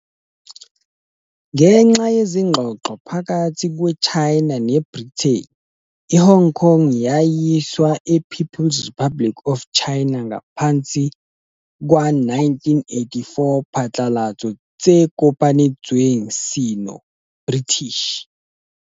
Ngenxa ezingxoxweni phakathi China le Britain, Hong Kong wayiswa le People Republic of China ngaphansi 1984 Phatlalatso tse kopanetsweng Sino-British.